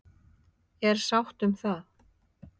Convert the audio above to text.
Er sátt um það?